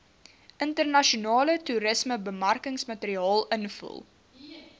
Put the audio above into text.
internasionale toerismebemarkingsmateriaal invul